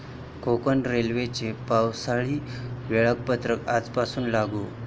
कोकण रेल्वेचं पावसाळी वेळापत्रक आजपासून लागू